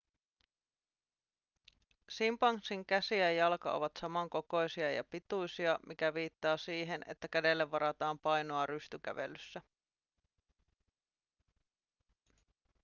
simpanssin käsi ja jalka ovat samankokoisia ja pituisia mikä viittaa siihen että kädelle varataan painoa rystykävelyssä